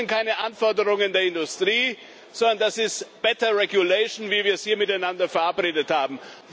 Das sind keine Anforderungen der Industrie, sondern das ist better regulation wie wir es hier miteinander verabredet haben.